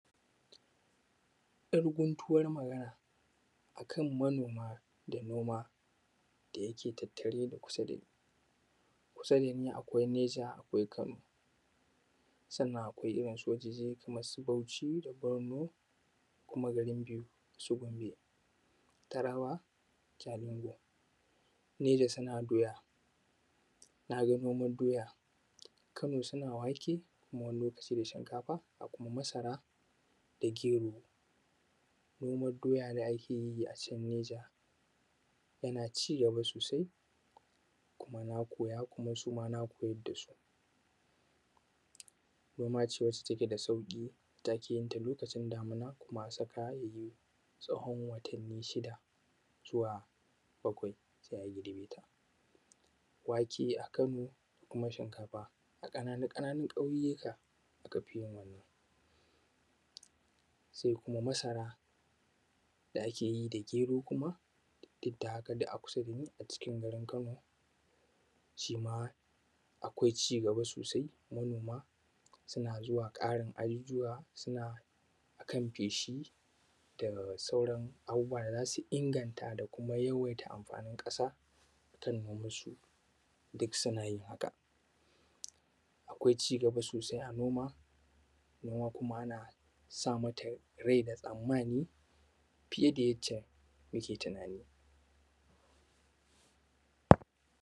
‘Yar gutuwar magana a kan manoma da noma, da yake tattare na kusa da ni. Kusa da ni akwai Neja akwai Kano sannan kuma akwai wurauen su Bauchi da Barno, k una garin su Gombe, Taraba Jalingo, Neja suna doya, na ga noman doya, Kano suna wake wani lokacin da shinkafa da kuma masara da gero. Noman doya da ake yi a can Neja jana cigaba sosai,. Kuma na koya kuma su ma na koayad da su. Noma ce wacce take da sauƙi, wanda ake yin ta lokacin damina tsawon watanni shida zuwa balwai sai a girbe ta. Wake a Kano kuma shinkafa a ƙananun-ƙananun ƙauyuka aka fi yi wannan. Sai kuma masara da ake yi da gero kuma duk da haka dai a kusa da ni a cikin garin Kano, shi ma akwai cigaba sosai. Manoma suna zuwa ƙarin ajujuwa suna zuwa kan feshi da sauran abubuwa da za su inganta da yawaita amfanin ƙasa duk suna yin haka. Akwai cigaba sosai a noma, noma kuma ana sa mata rai da tsammani fiye da yadda muke tunani.